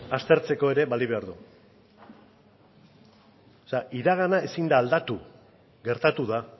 aztertzeko ere balio behar du o sea iragana ezin da aldatu gertatu da